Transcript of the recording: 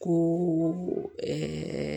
Ko